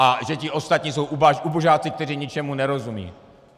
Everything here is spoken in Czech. A že ti ostatní jsou ubožáci, kteří ničemu nerozumí.